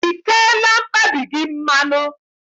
I teela mkpabi gị mmanụ?